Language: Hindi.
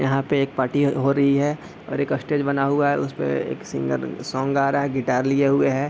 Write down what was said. यहाँ पे एक पार्टी अ हो रही है और एक स्टेज बना हुआ है। उसपे एक सिंगर सॉन्ग गा रहा है। गिटार लिए हुए है।